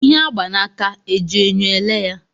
Ihe a gba n'aka e ji enyo ele ya?